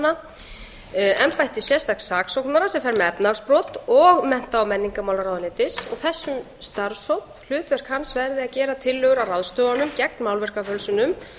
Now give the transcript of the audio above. íslenskra myndlistarmanna embætti sérstaks saksóknara sem fer með efnahagsbrot og mennta og menningarmálaráðuneytis hlutverk þessa starfshóps verði að gera tillögur að ráðstöfunum gegn málverkafölsunum